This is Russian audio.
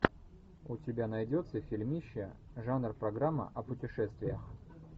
у тебя найдется фильмище жанр программа о путешествиях